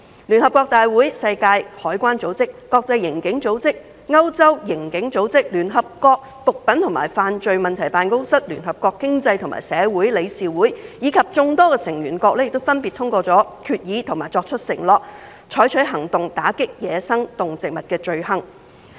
聯合國大會、世界海關組織、國際刑警組織、歐洲刑警組織、聯合國毒品和犯罪問題辦公室、聯合國經濟及社會理事會，以及眾多成員國分別通過決議及作出承諾，採取行動打擊走私野生動植物罪行。